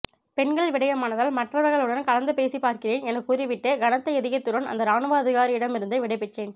பெண்கள் விடயமானதால் மற்றவர்ளுடன் கலந்து பேசிப்பார்க்கிறேன் எனக் கூறிவிட்டு கனத்த இதயத்துடன் அந்த இராணுவ அதிகாரியிடம் இருந்து விடைபெற்றேன்